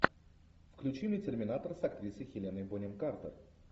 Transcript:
включи мне терминатор с актрисой хеленой бонем картер